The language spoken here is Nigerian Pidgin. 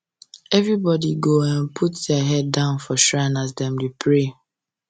everybody go um put their head down for shrine um as dem dey pray